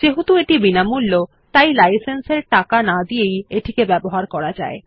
যেহেতু এটি বিনামূল্য তাই লাইসেন্স এর টাকা না দিয়েই এটিকে ব্যবহার করা যায়